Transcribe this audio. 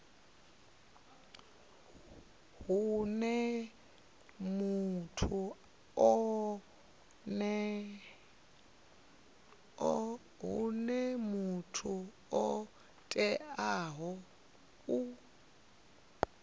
huna muthu o teaho u